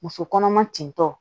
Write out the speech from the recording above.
Muso kɔnɔma tentɔ